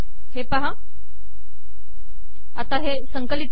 हे पहा संकिलत कर